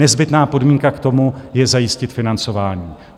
Nezbytná podmínka k tomu je zajistit financování.